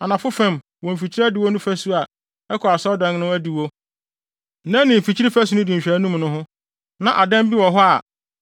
Anafo fam, wɔ mfikyiri adiwo no fasu a ɛkɔ asɔredan no adiwo, na ɛne mfikyiri fasu no di nhwɛanim no ho, na adan bi wɔ hɔ a